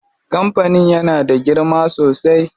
Kampanin yana da girma sosai.